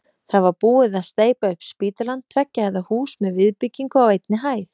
Það var búið að steypa upp spítalann, tveggja hæða hús með viðbyggingu á einni hæð.